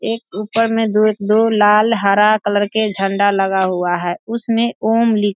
एक ऊपर मे दो दो लाल हरा कलर के झण्‍डा लगा हुआ है उसमें ॐ लिख --